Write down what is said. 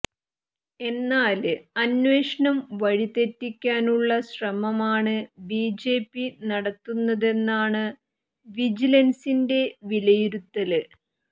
എന്നാല് അന്വേഷണം വഴിതെറ്റിക്കാനുള്ള ശ്രമമാണ് ബിജെപി നടത്തുന്നതെന്നാണ് വിജിലന്സിന്റെ വിലയിരുത്തല്